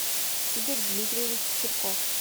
игорь дмитриевич чирков